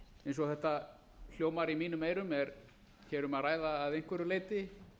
eins og þetta hljómar í mínum eyrum er hér um að ræða að einhverju leyti